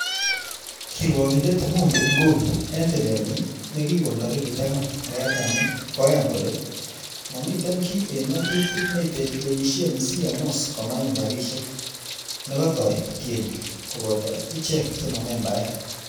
"Kiruokindet Mumbi Ngugi en tilenyin nekikon tarikit angwan arawetab Mut koyan kole,"Momiten kiy en ng'atutik neitelelsie CMOs komayum rabishek nekatoi tienik koboto ochek chemo membaek,"